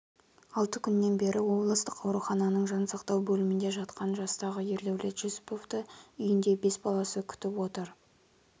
алты күннен бері облыстық аурухананың жан сақтау бөлімінде жатқан жастағы ердәулет жүсіповтіүйінде бес баласы күтіп отыр